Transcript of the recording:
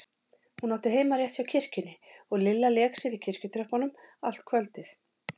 Hún átti heima rétt hjá kirkjunni og Lilla lék sér í kirkjutröppunum allt kvöldið.